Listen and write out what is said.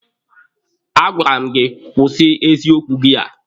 A gwara m gị kwụsị eziokwu gị a!